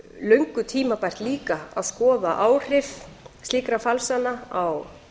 löngu tímabært líka að skoða áhrif slíkra falsana á